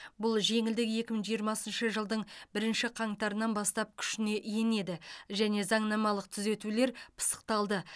бұл жеңілдік екі мың жиырмасыншы жылдың бірінші қаңтарынан бастап күшіне енеді және заңнамалық түзетулер пысықталды